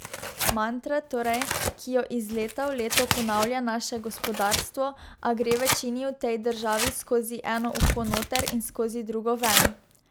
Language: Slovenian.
Mantra torej, ki jo iz leta v leto ponavlja naše gospodarstvo, a gre večini v tej državi skozi eno uho noter in skozi drugo ven.